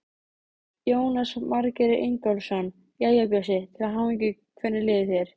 Jónas Margeir Ingólfsson: Jæja, Bjössi, til hamingju, hvernig líður þér?